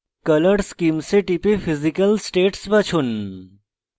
color schemes এ টিপে physical states বাছুন